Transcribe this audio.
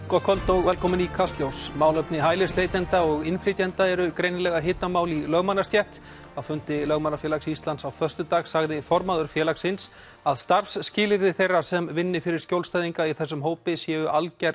gott kvöld og velkomin í Kastljós málefni hælisleitenda og innflytjenda eru greinilega hitamál í lögmannastétt á fundi Lögmannafélags Íslands á föstudag sagði formaður félagsins að starfsskilyrði þeirra sem vinni fyrir skjólstæðinga í þessum hópi séu algerlega